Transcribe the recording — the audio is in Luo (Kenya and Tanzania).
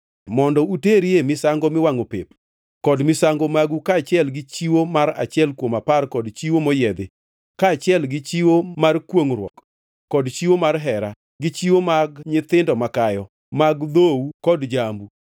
mondo uterie misango miwangʼo pep, kod misango magu kaachiel gi chiwo mar achiel kuom apar kod chiwo moyiedhi, kaachiel gi chiwo mar kwongʼruok kod chiwo mar hera, gi chiwo mag nyithindo makayo mag dhou kod jambu.